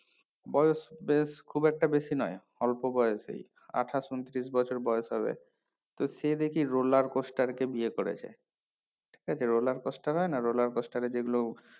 বয়স বেশ খুব একটা বেশি নয় অল্প বয়সেই আঠাশ উনতিরিশ বছর বয়স হবে তো সে দেখি roller coaster কে বিয়ে করেছে ঠিকআছে roller coaster হয়না roller coaster এ যেগুলো